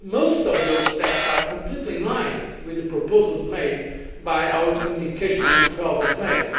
most of those steps are completely in line with the proposals made by our communication of 12 May.